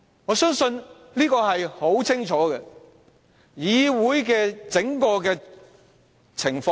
我所說的當然是當時的情況。